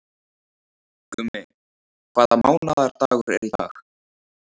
Gummi, hvaða mánaðardagur er í dag?